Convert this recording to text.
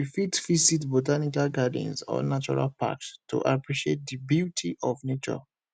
we fit visit botanical gardens or natural packs to appreciate di beauty of nature